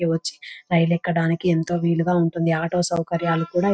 ఇది వచ్చి రైలు ఎక్కడానికి ఎంతో వీలుగా ఉంటుంది ఆటో సౌకార్యాలు కూడ --